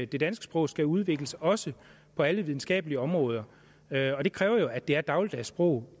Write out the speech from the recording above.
det danske sprog skal udvikles også på alle videnskabelige områder og det kræver jo at det er et dagligdags sprog